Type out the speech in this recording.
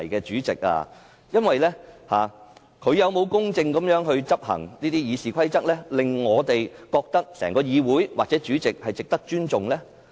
主席有否公正地執行《議事規則》，令我們認為議會或主席是值得尊重？